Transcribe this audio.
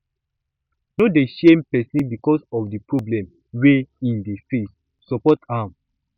no dey shame person because of di problem wey im dey face support am